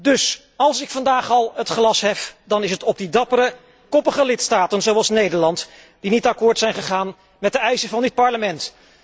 Dus, als ik vandaag al het glas hef, dan is het op die dappere, koppige lidstaten, zoals Nederland, die niet akkoord zijn gegaan met de eisen van dit Parlement.